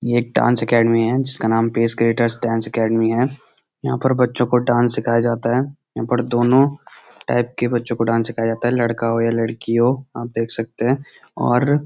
ये एक dance academy है जिसका नाम पेसक्रेटर्स डांस अकेडमी है यहाँ पर बच्‍चों को डांस सिखाया जाता है यहाँ पे दोनों टाईप के बच्‍चों को डांस सिखाया जाता है लड़का हो या लड़की हो आप देख सकते है और--